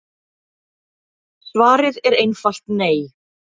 Svarið er einfalt nei.